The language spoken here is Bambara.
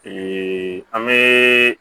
an bɛ